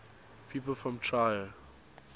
people from trier